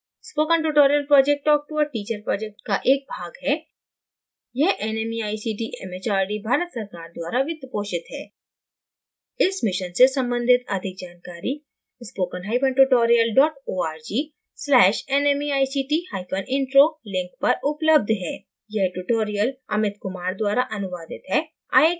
spoken tutorial project talk to a teacher project का एक भाग है यह nmeict mhrd भारत सरकार द्वारा वित्तपोषित है इस मिशन से संबंधित अधिक जानकारी spokentutorial org/nmeictintro लिंक पर उपलब्ध है